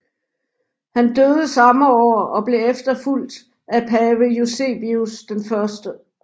Han døde samme år og blev efterfulgt af pave Eusebius 1